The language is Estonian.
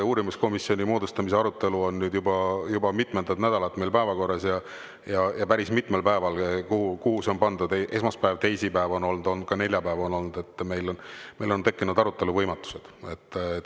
Uurimiskomisjoni moodustamise arutelu on juba mitmendat nädalat meil päevakorras ja päris mitmel päeval, kuhu see sai pandud – esmaspäev ja teisipäev on olnud, ka neljapäev on olnud –, on meil tekkinud arutelu võimatus.